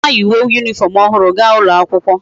Chioma yi uwe uniform ohuru ga ulo akwukwo